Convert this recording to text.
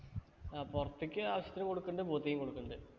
ആ പൊറത്തേക്ക് ആവശ്യത്തിന് കൊടുക്കണ്ട് booth ഈം കൊടുക്കണ്ട്